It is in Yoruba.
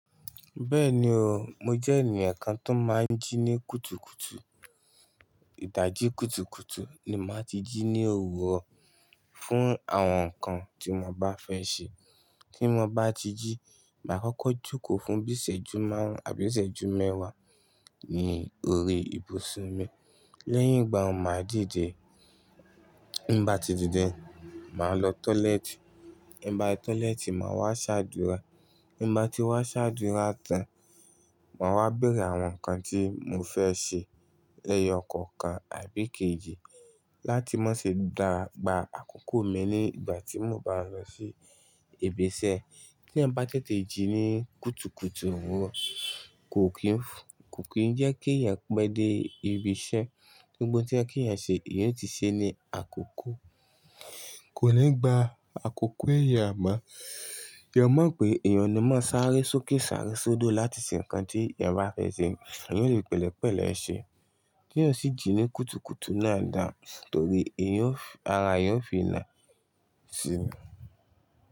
Bẹ́ẹ̀ni o, mo jẹ́ ènìyàn kan tó máa ń jí ní kùtùkùtù. Ìdájí kùtùkùtù ni màá ti jí ní òwúrọ̀ fún àwọn nǹkan tí mo bá fẹ́ ṣe. Tí mo bá ti jí, màá kọ́kọ́ jókòó fún bíi ìsẹ́jú márùn-ún àbí ìsẹ́jú mẹ́wàá ní orí ìbùsùn mi. Lẹ́yìn ìgbà ọun ma dìde Nígbà tí bati dìde, màá lọ tọ́lẹ́ẹ̀tì. Nígbà tí tọ́lẹ́ẹ̀tì, màá wá ṣàdúrà. Nígbà tí ba ti wá ṣàdúrà tán, màá wá bẹẹrẹ àwọn nǹkan tí mo fẹ́ ṣe lẹ́yọ kọ̀ọ̀kan àbí kejì láti má ṣe gbà àkókò mi nígbà tí mo bá lọ sí ibi iṣẹ́. Tí eyan ba tètè jí ní kùtùkùtù òwúrọ̀, kò kí ń, kò kí ń jẹ́ kí èyàn pẹ de ibi iṣẹ́. Gbogbo oun tí oyẹ kí èyàn ṣe, èyàn o ti ṣe ní àkókò. Kò ní gba àkókò ẹ̀yà mọ́. Eeyan mọ̀ pé èèyàn ni máa sáré sókè, sáré sodo láti ṣe nǹkan tí èyàn bá fẹ́ ṣe. Èyàn o le pẹ̀lẹ́pẹ̀lẹ̀ ṣe. Tí èèyàn sì jí ní kùtùkùtù náà dà, torí èyàn fì ara èèyàn ó fi nà ṣí.